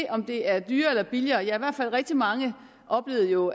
om det er dyrere eller billigere ja rigtig mange oplevede jo